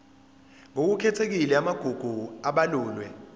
ngokukhethekile amagugu abalulwe